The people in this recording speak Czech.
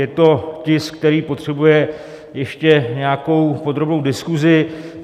Je to tisk, který potřebuje ještě nějakou podrobnou diskusi.